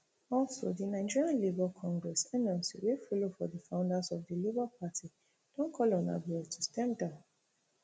also di nigeria labour congress nlc wey follow for di founders of di labour party don call on abure to step down